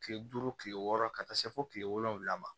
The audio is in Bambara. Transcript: Kile duuru kile wɔɔrɔ ka taa se fo kile wolonwula ma